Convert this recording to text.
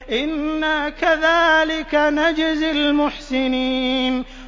إِنَّا كَذَٰلِكَ نَجْزِي الْمُحْسِنِينَ